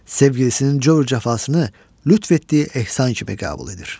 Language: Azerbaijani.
Sevgilisinin cövrü cəfasını lütf etdiyi ehsan kimi qəbul edir.